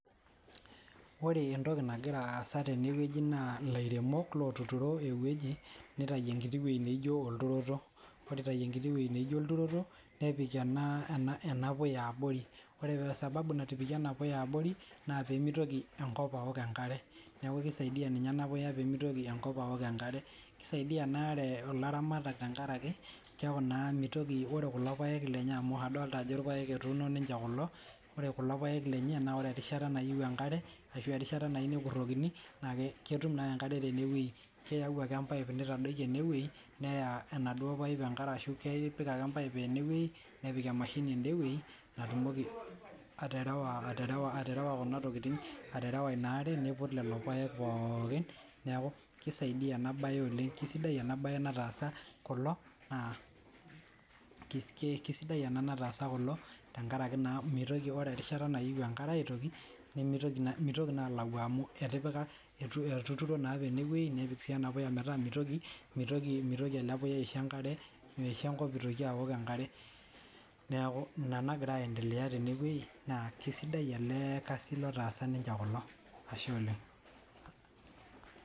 Ore entoki nagira asaa tenewueji naa elairemok otuturo enkiti wueji nitawu ewueji naijio olturoto ore pee etayu enkiti wueji naijio olturoto nepik enkiti puya abori ore sababu natipikie ena puya abori naa pee mitoki enkop awok enkare neeku kisaidia ena puya pee mitoki enkop awok enkare kisaidia ena are elaramatak tenkaraki keeku orekuko paek lenye ore erishata niyieu enkare ashu erishata nayieu nekurokini naa ketum ake enkare tenewueji keyawu ake ee pipe nitadoki enewueji neya enaduo pipe enkare ashu kepik ake enaduo pipe nepik emashini edewueji natumoki aterewa enaa are input lelo paek pookin neeku kisidai ena mbae naatasa kulo amu keeku ore erishata nayieu enkare aitoki nemelayu amu etuturi naa apa enewueji nepik ena puya metaa mitoki ele puya aisho enkop ewok enkare neeku ena nagira aendelea tene neeku esidai ele kasii otaasa kulo